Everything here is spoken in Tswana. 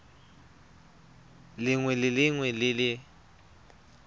lengwe le lengwe le le